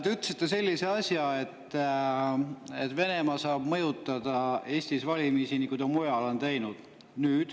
Te ütlesite sellise asja, et Venemaa saab mõjutada Eestis valimisi, nii nagu ta seda mujal on teinud.